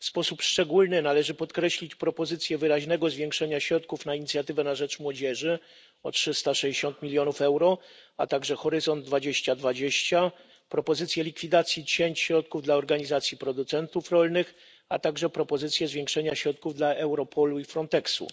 W sposób szczególny należy podkreślić propozycję wyraźnego zwiększenia środków na inicjatywę na rzecz młodzieży, o 360 mln euro, a także Horyzont 2020, propozycję likwidacji cięć środków dla organizacji producentów rolnych oraz propozycję zwiększenia środków dla Europolu i Frontexu.